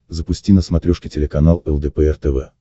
запусти на смотрешке телеканал лдпр тв